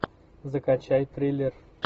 закачай триллер